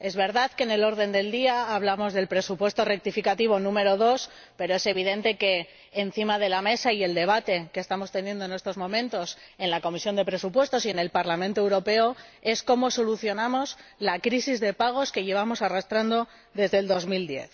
Es verdad que en el orden del día hablamos del segundo presupuesto rectificativo, pero es evidente que lo que está encima de la mesa y centra el debate que estamos teniendo en estos momentos en la Comisión de Presupuestos y en el Parlamento Europeo es cómo solucionamos la crisis de pagos que llevamos arrastrando desde el año 2010.